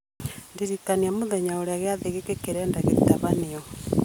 ndirikania mũthenya ũrĩa gĩathĩ gĩkĩ kĩrendeka gĩtabanio